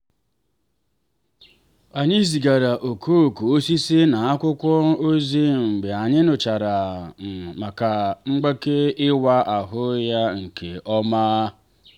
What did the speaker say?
anyị zigara okooko osisi na akwụkwọ ozi mgbe anyị nụchara um maka mgbake ịwa ahụ ya nke ọma.